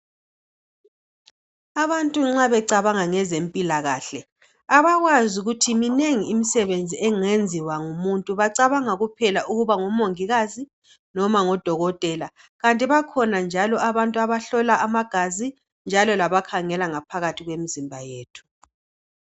Abantu nxa becabanga ngezempilakahle abakwazi ukuthi minengi imisebenzi engenziwa ngumuntu. Bacabanga kuphela ukuba ngomongikazi noma ngodokotela. Kanti bakhona njalo abantu abahlola amagazi njalo labakhangela ngaphakathi kwemizimba yethu.